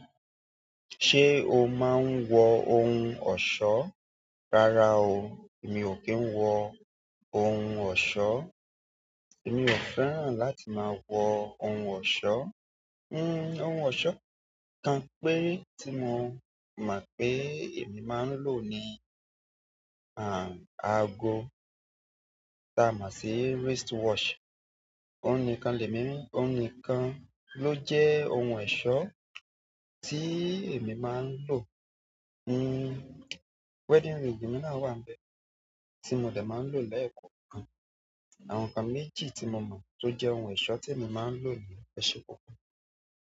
Ṣé o máa ń wọ ohun ọ̀ṣọ́? Rárá o, èmi ò kì í wọ ohun ọ̀ṣọ́. Èmi ò fẹ́ràn láti máa wọ ohun ọ̀ṣọ́. Hmm, ohun ọ̀ṣọ́ kan péré tí mo mọ̀ pé èmi máa ń lò ni aago. Tí a mọ̀ sí wristwatch. Òun nìkan lèmi, òun nìkan ló jẹ́ ohun ọ̀ṣọ́ tí èmi máa ń lò. Hmm, wedding ring mi náà wà níbẹ̀ tí mo dè máa ń lò lẹ́ẹ̀kọ̀ọ̀kan. Àwọn nǹkan méjì tí mo mọ̀ tó jẹ́ ohun ọ̀ṣọ́ tí èmi máa ń lò ni ẹṣé púpọ̀.